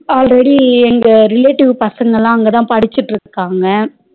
Already எங்க relative பசங்கள அங்க தா படிச்சுட்டு இருக்காங்க